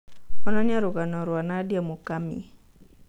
onanĩa rũgano rwa Nadia Mukami